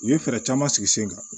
U ye fɛɛrɛ caman sigi sen kan